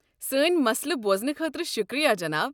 سٲنۍ مسلہٕ بوزنہٕ خٲطرٕ شکریہ، جناب۔